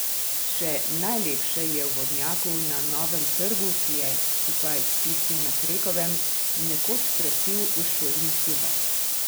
Še najlepša je v vodnjaku na Novem trgu, ki je, skupaj s tistim na Krekovem, nekoč krasil uršulinski vrt.